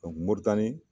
moritani